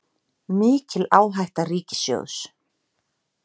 Mikil áhætta ríkissjóðs